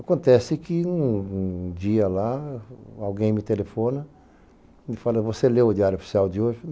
Acontece que um dia lá alguém me telefona e me fala, você leu o diário oficial de hoje?